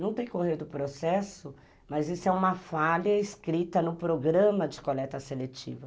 Não decorreu do processo, mas isso é uma falha escrita no programa de coleta seletiva.